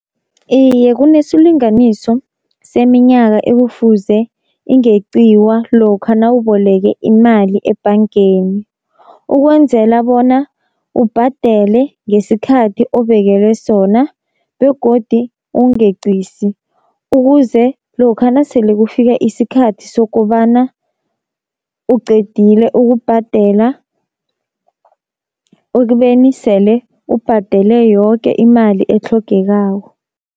Iye kunesilinganiso seminyaka ekufuze ingeqiwa lokha nawuboleke imali ebhangeni, ukwenzela bona ubhadele ngesikhathi obekelwe sona, begodu ungeqisi ukuze lokha nasele kufika isikhathi sokobana uqedile ukubhadela, ekubeni sele ubhadele yoke imali etlhogekako.